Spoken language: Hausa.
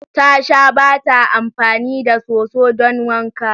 Tasha bata amfani da soso don wanka.